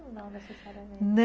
Não necessariamente.